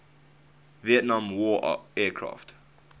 vietnam war aircraft